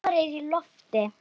Vor er í lofti.